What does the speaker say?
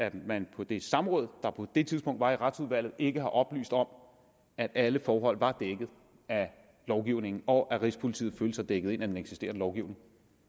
at man på det samråd der på det tidspunkt var i retsudvalget ikke har oplyst om at alle forhold var dækket ind af lovgivningen og at rigspolitiet følte sig dækket ind af den eksisterende lovgivning